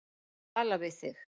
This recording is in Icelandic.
Tala við þig.